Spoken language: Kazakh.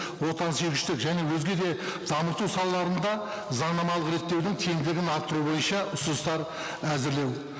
отансүйгіштік және өзге де дамыту салаларында заңнамалық реттеудің тиімділігін арттыру бойынша ұсыныстар әзірлеу